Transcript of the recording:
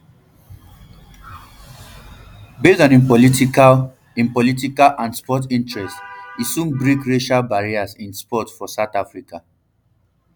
based on im political im political and sport interest e soon break racial barriers in sport for south africa